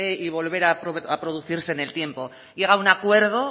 y volver a producirse en el tiempo llega a un acuerdo